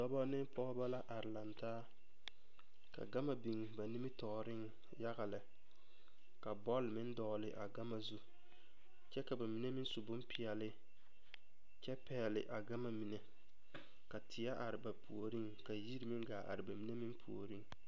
Dɔba ne pɔgeba la are lantaa ka gama biŋ ba nimitɔɔreŋ yaga lɛ ka bɔl meŋ dɔgele a gama zu kyɛ ka ba mine meŋ su bompeɛle kyɛ pɛgele a gama mime ka tie are ba puoriŋ a yiri meŋ haa are ba mine meŋ puoriŋ